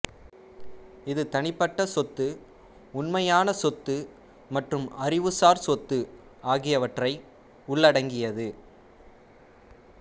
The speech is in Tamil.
இது தனிப்பட்ட சொத்து உண்மையான சொத்து மற்றும் அறிவுசார் சொத்து ஆகியவற்றை உள்ளடக்கியது